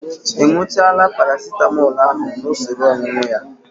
Ị ñụchaala Paracitamọl ahụ n'usoro ọñụñụ ya?